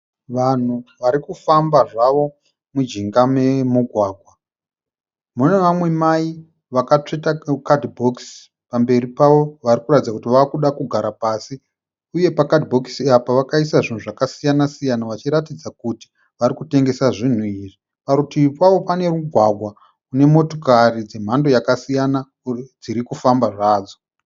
Vanhu vari kufamba zvavo mujinga memugwagwa, mune vamwe mai vakatsveta kadhibhokisi pamberi pavo vari kuratidza kuti vave kuda kugara pasi uye pakadhibhokisi apa vakaisa zvinhu zvakasiyana siyana vachiratidza kuti vari kutengesa zvinhu izvi parutivi pavo pane mugwagwa une motokari dzemhando yakasiyana dziri kufamba zvadzo.